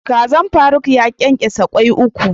Kazan Faruk ya kenkesa Kwai uku.